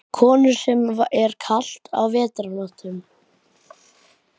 Konur, sem er kalt á vetrarnóttum.